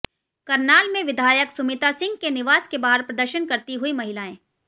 करनाल में विधायक सुमिता सिंह के निवास के बाहर प्रदर्शन करती हुई महिलाएं